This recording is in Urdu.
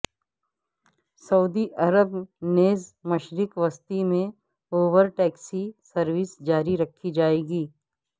سعودی عرب نیز مشرق وسطی میں اوبر ٹیکسی سروس جاری رکھی جائے گی